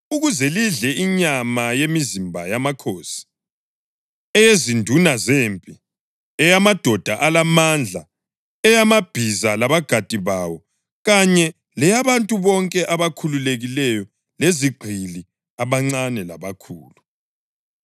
ukuze lidle inyama yemizimba yamakhosi, eyezinduna zempi, eyamadoda alamandla, eyamabhiza labagadi bawo kanye leyabantu bonke abakhululekileyo lezigqili, abancane labakhulu.”